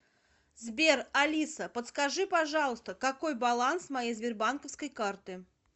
сбер алиса подскажи пожалуйста какой баланс моей сбербанковской карты